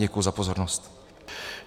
Děkuji za pozornost.